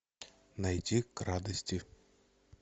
найти к радости